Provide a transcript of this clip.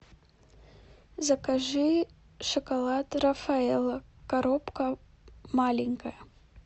закажи шоколад рафаэлло коробка маленькая